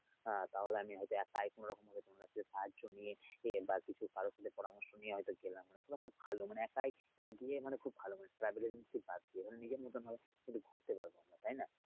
আহ তাহলে আমি হয়তো একাই কোনরকমে কারো সাহায্য নিয়ে বা কিছু কারো থেকে পরামর্শ নিয়ে হয়তো গেলাম এটা একটা ভালো মানে একাই গিয়ে খুব ভালো মানে travel agency বাদ দিয়ে মানে নিজের মতন ভাবে কিন্তু ঘুরতে পারবে তাইনা!